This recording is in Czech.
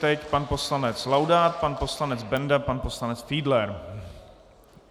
Teď pan poslanec Laudát, pan poslanec Benda, pan poslanec Fiedler.